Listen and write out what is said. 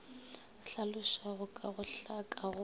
hlalosago ka go hlaka go